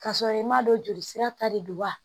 K'a sɔrɔ i m'a dɔn jolisira ta de don wa